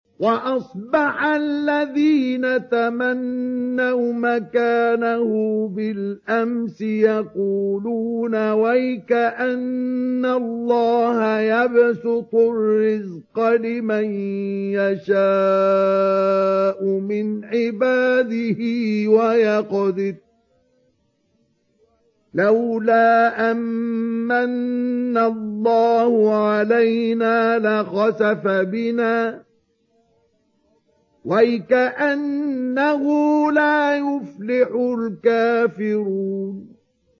وَأَصْبَحَ الَّذِينَ تَمَنَّوْا مَكَانَهُ بِالْأَمْسِ يَقُولُونَ وَيْكَأَنَّ اللَّهَ يَبْسُطُ الرِّزْقَ لِمَن يَشَاءُ مِنْ عِبَادِهِ وَيَقْدِرُ ۖ لَوْلَا أَن مَّنَّ اللَّهُ عَلَيْنَا لَخَسَفَ بِنَا ۖ وَيْكَأَنَّهُ لَا يُفْلِحُ الْكَافِرُونَ